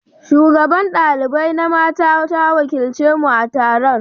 Shugaban ɗalibai na mata ta wakilci mu a gasar.